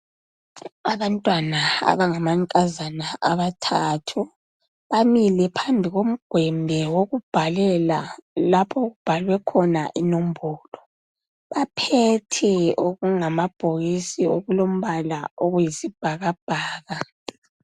Abantwana abangamankazana abathathu bamile phambi komgwembe wokubhalela lapho okubhalwe khona inombolo baphethe okungamabhokisi okulombala okuyisibhakabhaka.